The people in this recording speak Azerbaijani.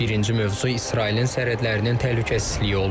Birinci mövzu İsrailin sərhədlərinin təhlükəsizliyi olub.